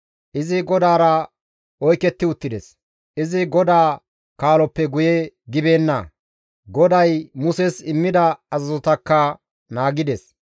Izi GODAARA oyketti uttides; izi GODAA kaaloppe guye gibeenna; GODAY Muses immida azazotakka naagides.